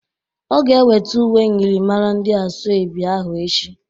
Ọ ga-ewete uwe myịrịmara ndị asoebi ahụ echi.